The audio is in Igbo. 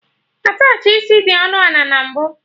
Attachị isi dị ọnụ ana na mbụ